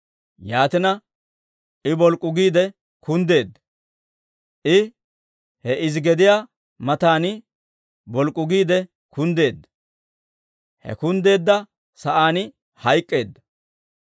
Yaatina, I bolk'k'u giide kunddeedda. I he izi gediyaa matan bolk'k'u giide kunddeedda. He kunddeedda sa'aan hayk'k'eedda.